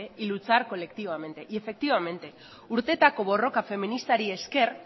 y luchar colectivamente y efectivamente urteetako borroka feministari esker